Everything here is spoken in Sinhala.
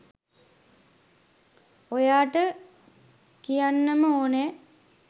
ඔයාට කියන්නම ඕනෙ.